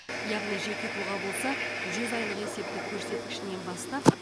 яғни жеке тұлға болса жүз айлық есептік көрсеткішінен бастап